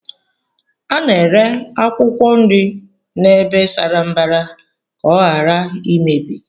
A na-ere akwụkwọ nri n'ebe sara mbara ka ọ ghara imebi